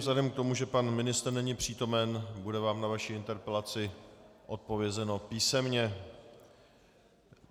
Vzhledem k tomu, že pan ministr není přítomen, bude vám na vaši interpelaci odpovězeno písemně.